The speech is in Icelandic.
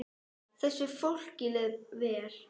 Þessu fólki leið vel.